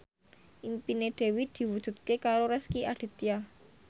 impine Dewi diwujudke karo Rezky Aditya